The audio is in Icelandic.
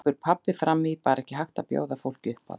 grípur pabbi fram í, bara ekki hægt að bjóða fólki upp á það.